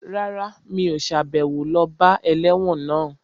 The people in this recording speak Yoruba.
Rárá, mi ò sàbẹ̀wo lọ bá ẹlẹ́wọ̀n náà